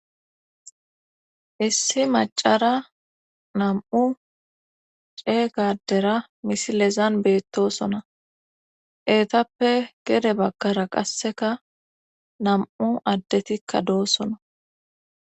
issi macara nam7u ceeygadera misilezan beettosona eetappe gede bakkara qasseka nam7u addetikka doosona